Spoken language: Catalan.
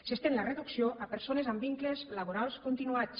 s’estén la reducció a persones amb vincles laborals continuats